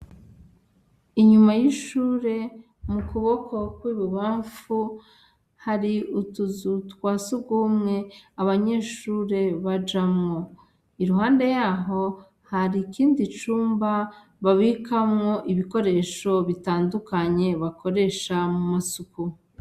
Inyuma y' ishure mu kuboko kw' ibubamfu hari utuzu twa sugumwe abanyeshure bajamwo, iruhande yaho hari ikindi cumba babikamwo ibikoresho bitandukanye bakoresha mu masuku.